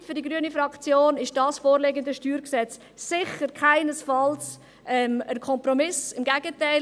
Fazit: Für die grüne Fraktion ist das vorliegende StG sicher keinesfalls ein Kompromiss, im Gegenteil.